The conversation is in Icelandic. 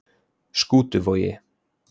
Skútuvogi